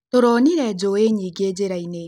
Tũronĩre njũĩ nyingĩ njĩrainĩ